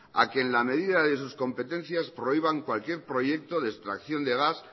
a que en la medida de sus competencias prohíban cualquier proyecto de extracción de gas